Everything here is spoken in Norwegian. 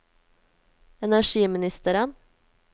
energiministeren